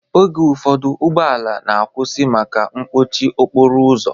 Oge ụfọdụ ụgbọala na-akwụsị maka mkpọchi okporo ụzọ